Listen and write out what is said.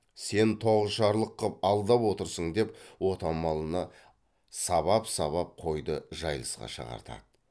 сен тоғышарлық қып алдап отырсың деп отамалыны сабап сабап қойды жайылысқа шығартады